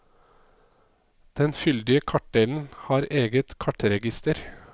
Den fyldige kartdelen har eget kartregister.